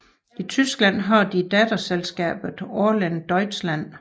I Tyskland har de datterselskabet Orlen Deutschland